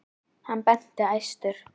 Hann benti æstur.